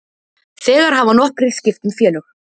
Þegar hafa nokkrir skipt um félög.